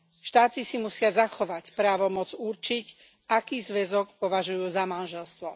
Štáty si musia zachovať právomoc určiť, aký zväzok považujú za manželstvo.